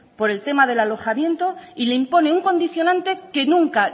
por el tema del alojamiento y le impone un condicionante que nunca